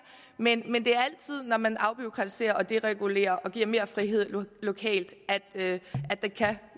men det er altid når man afbureaukratiserer og deregulerer og giver mere frihed lokalt at